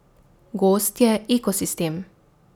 Gozd je ekosistem.